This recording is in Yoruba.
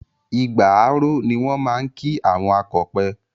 Igbà á ró, ni wọ́n máa ń kí àwọn akọpẹ̀.